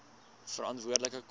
veranderlike koste